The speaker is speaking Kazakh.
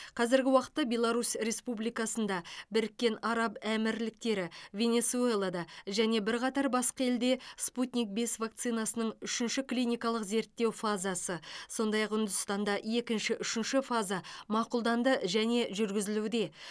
қазіргі уақытта беларусь республикасында біріккен араб әмірліктері венесуэлада және бірқатар басқа елде спутник бес вакцинасының үшінші клиникалық зерттеу фазасы сондай ақ үндістанда екінші үшінші фаза мақұлданды және жүргізілуде